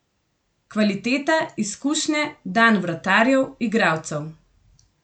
Kvaliteta, izkušnje, dan vratarjev, igralcev.